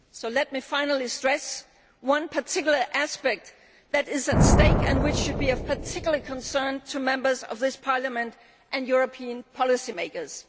Let me finally stress one particular aspect that is at stake and which should be of particular concern to Members of this Parliament and European policymakers.